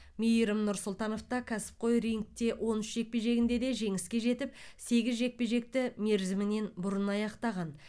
мейірім нұрсұлтановта кәсіпқой рингте он үш жекпе жегінде де жеңіске жетіп сегіз жекпе жекті мерзімнен бұрын аяқтаған